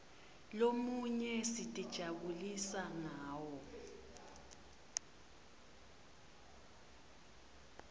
lomunye sitijabulisa ngawo